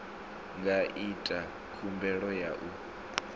nga ita khumbelo ya u